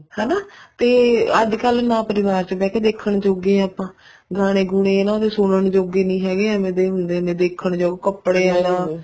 ਹਨਾ ਤੇ ਅੱਜਕਲ ਨਾ ਪਰਿਵਾਰ ਚ ਬਹਿ ਕੇ ਦੇਖਣ ਜੋਗੇ ਹਾਂ ਗਾਣੇ ਗੁਨੇ ਸੁਣਨ ਜੋਗੇ ਨੀ ਹੈਗੇ ਏਵੇਂ ਦੇ ਹੁੰਦੇ ਨੇ ਨਾ ਦੇਖਣ ਯੋਗ ਕੱਪੜੇ ਵਗੈਰਾ